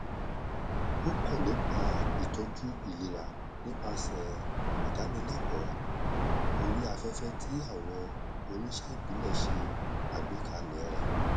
ó kọ nípa ìtọjú ìlera nípasẹ ìdánilẹkọọ orí afẹfẹ tí àwọn oníṣẹ ìbílẹ ṣe àgbékalẹ rẹ